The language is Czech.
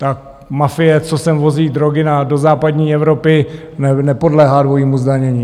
Ta mafie, co sem vozí drogy do západní Evropy, nepodléhá dvojímu zdanění.